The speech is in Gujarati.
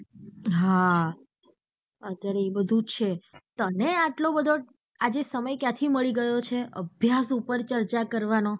હા અત્યારે એ બધુજ છે તને આટલો બધો આજે સમય ક્યાં થી મળી ગયો છે અભ્યાસ ઉપર ચર્ચા કરવાના